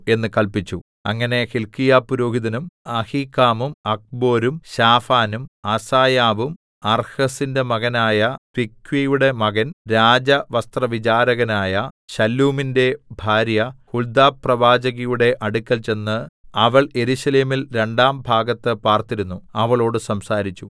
അങ്ങനെ ഹില്ക്കീയാപുരോഹിതനും അഹീക്കാമും അക്ബോരും ശാഫാനും അസായാവും അർഹസിന്റെ മകനായ തിക്വയുടെ മകൻ രാജവസ്ത്രവിചാരകനായ ശല്ലൂമിന്റെ ഭാര്യ ഹുൽദാപ്രവാചകിയുടെ അടുക്കൽ ചെന്ന്അവൾ യെരൂശലേമിൽ രണ്ടാം ഭാഗത്ത് പാർത്തിരുന്നുഅവളോട് സംസാരിച്ചു